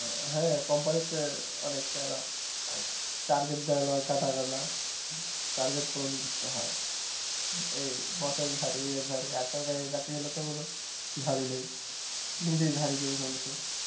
হ্যাঁ কোম্পানিতে অনেকটা target দেয় target পূরণ করতে হয় এই চাকরি হলে তো মনে নিজেই ঝাড়ি দেব মানুষের,